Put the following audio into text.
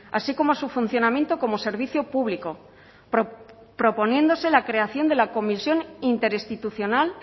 así como a su funcionamiento como servicio público proponiéndose la creación de la comisión interinstitucional